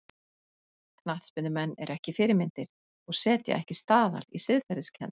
Knattspyrnumenn eru ekki fyrirmyndir og setja ekki staðal í siðferðiskennd.